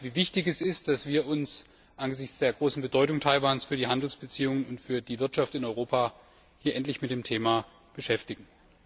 Das zeigt, wie wichtig es ist, dass wir uns angesichts der großen Bedeutung Taiwans für die Handelsbeziehungen und für die Wirtschaft in Europa hier endlich mit dem Thema beschäftigen.